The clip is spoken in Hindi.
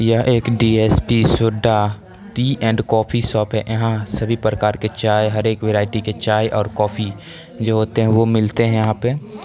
यह एक DSP soda tea and coffee shop है यहाँ सभी प्रकार के चाय हरे वैरायटी की चाय और कॉफ़ी जो होते है वो मिलते है यहाँ पे।